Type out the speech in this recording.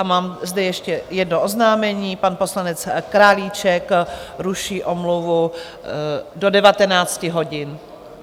A mám zde ještě jedno oznámení, pan poslanec Králíček ruší omluvu do 19 hodin.